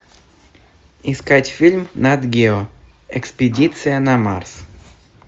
искать фильм нат гео экспедиция на марс